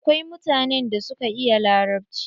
Akwai mutanen da suka iya larabci.